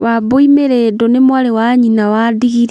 Wambũi mĩrĩndũ ni mwarĩ wa nyina wa ndigiri